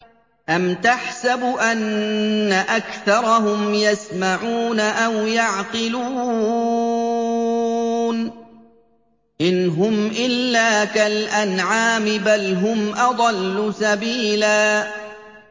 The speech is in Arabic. أَمْ تَحْسَبُ أَنَّ أَكْثَرَهُمْ يَسْمَعُونَ أَوْ يَعْقِلُونَ ۚ إِنْ هُمْ إِلَّا كَالْأَنْعَامِ ۖ بَلْ هُمْ أَضَلُّ سَبِيلًا